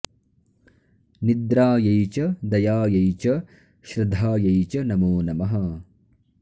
निद्रायै च दयायै च श्रधायै च नमो नमः